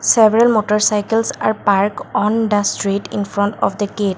several motor cycles are parked on the street infront of the gate.